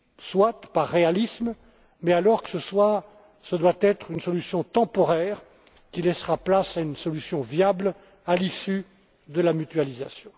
Soit, par réalisme, mais alors ce doit être une solution temporaire qui laissera place à une solution viable, à l'issue de la mutualisation.